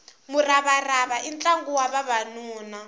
muravarava i ntlangu wa vavanuna